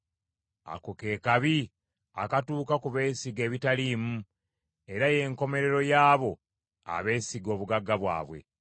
Ako ke kabi akatuuka ku beesiga ebitaliimu, era ye nkomerero y’abo abeesiga obugagga bwabwe.